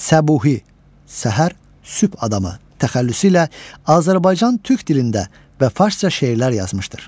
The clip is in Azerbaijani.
Səbuhi, Səhər, Sübh adamı təxəllüsü ilə Azərbaycan Türk dilində və farsça şeirlər yazmışdır.